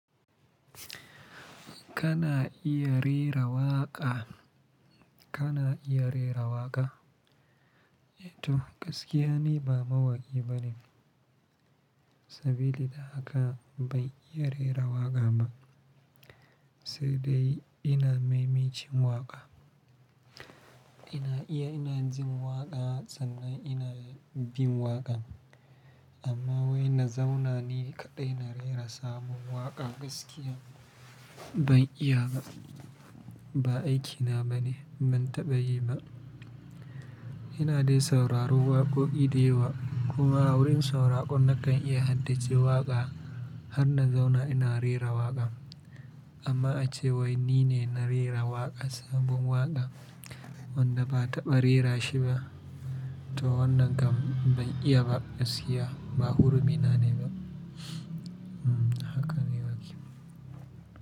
Kana iya rera waƙa? Kana iya rera waƙa? To gaskiya ni ba mawaƙi bane. Sabili da haka ban iya rera waƙa ba. Sai dai ina maimaicin waƙa. Ina iya ina jin waƙa sannan ina bin waƙan amma wai na zauna ni kaɗai na rera sabon waƙa gaskiya ban iya ba. Ba aikina bane, ban taɓa yi ba. Ina dai sauraron waƙoƙi da yawa kuma wurin sauraƙon na kan iya haddace waƙa har na zauna ina rera waƙa. Amma ace wai nine na rera waƙa sabon waƙa wanda ba a taɓa rera shi ba to wannan kam ban iya ba gaskiya ba hurumi na ne ba. Haka ne wakil.